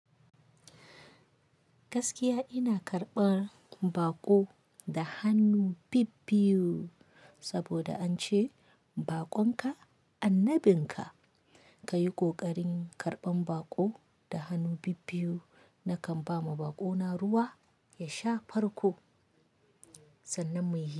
Gaskiya ina karɓan baƙo da hannu bibbiyu saboda an ce baƙon ka annabin ka. Kayi ƙoƙarin karɓan baƙo da hannu bibbiyu nakan ba ma baƙo na ruwa ya sha farko sannan muyi.